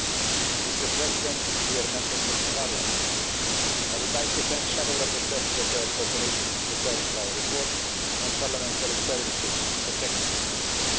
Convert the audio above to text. Mr President, dear Members of Parliament, I would like to thank the shadow rapporteurs for their cooperation in preparing our report and the parliamentary services for technical support.